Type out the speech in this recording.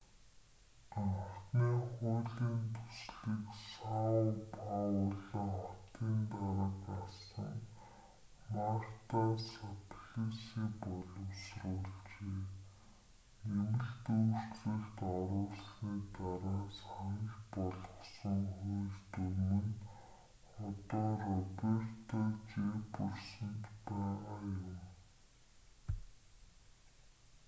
анхны хуулийн төслийг сао пауло хотын дарга асан марта саплиси боловсруулжээ нэмэлт өөрчлөлт оруулсаны дараа санал болгосон хууль дүрэм нь одоо роберто жефферсонд байгаа юм